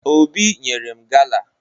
Obi nyere m gala